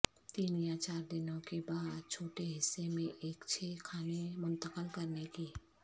تین یا چار دنوں کے بعد چھوٹے حصے میں ایک چھ کھانے منتقل کرنے کی